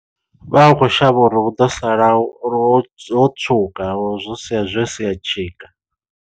Vha khou shavha uri hu ḓo sala uri ho tswuka ho zwo sia zwo sia tshika.